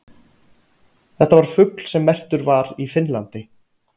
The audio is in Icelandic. Þetta var fugl sem merktur var í Finnlandi.